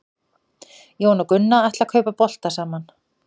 Jón og Gunna ætla að kaupa bolta saman.